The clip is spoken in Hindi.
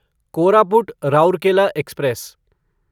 कोरापुट राउरकेला एक्सप्रेस